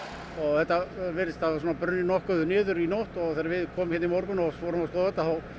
þetta virðist hafa brunnið nokkuð niður í nótt og þegar við komum hérna í morgun og fórum að skoða þetta þá